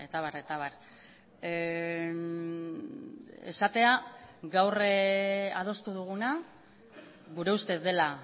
abar eta abar esatea gaur adostu duguna gure ustez dela